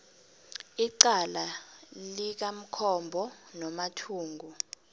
icala likamkombo nomathungu